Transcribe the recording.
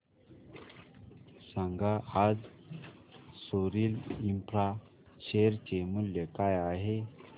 सांगा आज Soril infra share चे मूल्य काय आहे